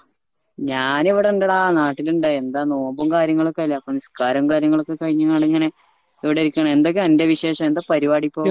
ഞാൻ ഇവിടെ ഇണ്ടെടാ നാട്ടിൽ ഇണ്ടായി എന്താ നോമ്പും കാര്യങ്ങളുക്കെയല്ലേ അപ്പൊ നിസ്‌കാരവും കാര്യങ്ങളും ഒകെ കഴിഞ്ഞങ്ങാട് ഇങ്ങനെ ഇവിടെ ഇരിക്കണ് എന്തൊക്ക്യാ അൻ്റെ വിശേഷം എന്താ പരുവാടിയിപ്പോ